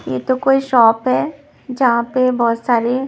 ये तो कोई शॉप है जहाँ पे बहुत सारे --